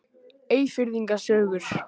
Eyfirðinga sögur.